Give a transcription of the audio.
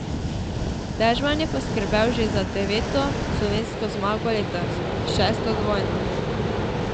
Dežman je poskrbel že za deveto slovensko zmago letos, šesto dvojno.